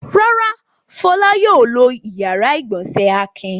Rárá, Fọlá yóò lo ìyàrá-ìgbọ̀nsẹ̀ Akin.